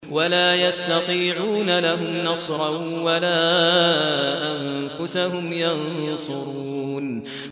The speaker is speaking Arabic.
وَلَا يَسْتَطِيعُونَ لَهُمْ نَصْرًا وَلَا أَنفُسَهُمْ يَنصُرُونَ